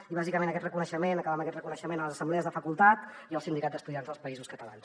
i bàsicament aquest reconeixement acabar amb aquest reconeixement a les assemblees de facultat i al sindicat d’estudiants dels països catalans